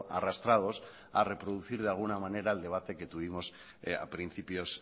arrastrados a reproducir de alguna manera el debate que tuvimos a principios